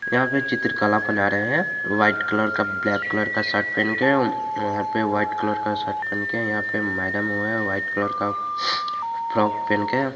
यहां पे चित्रकला बना रहे हैं व्हाइट कलर का ब्लैक कलर का शर्ट पहन के वहां पर व्हाइट कलर का शर्ट पहन के यहां पर मैडम वो है व्हाइट कलर का फ्रॉक पहन के।